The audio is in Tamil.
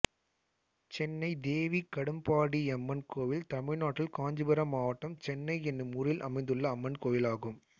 சென்னை தேவி கடும்பாடியம்மன் கோயில் தமிழ்நாட்டில் காஞ்சிபுரம் மாவட்டம் சென்னை என்னும் ஊரில் அமைந்துள்ள அம்மன் கோயிலாகும்